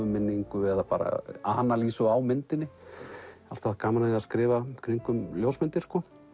minningu eða bara á myndinni alltaf haft gaman að því að skrifa í kringum ljósmyndir